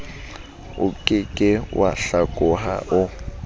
oke ke wa hlakoha o